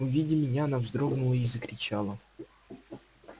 увидя меня она вздрогнула и закричала